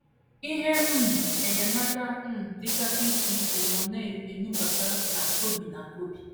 Ihe um enyemaka um dịgasị iche iche nọ na - enubata na Kobe na Kobe.